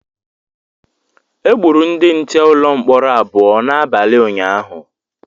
Egburu ndị nche ụlọ mkpọrọ abụọ n’abalị ụnyahụ